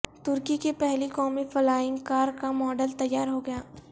ترکی کی پہلی قومی فلائینگ کار کا ماڈل تیار ہو گیا